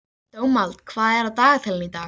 Dómald, hvað er á dagatalinu í dag?